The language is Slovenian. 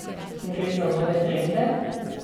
Gre za nove trende?